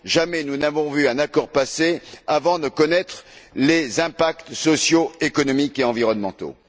Jamais, nous n'avons vu un accord passer avant de connaître les impacts sociaux, économiques et environnementaux.